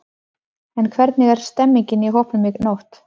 En hvernig var stemningin í hópnum í nótt?